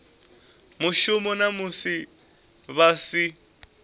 mushumoni na musi vha si